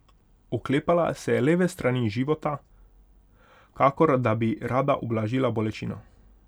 Oklepala se je leve strani života, kakor da bi rada ublažila bolečino.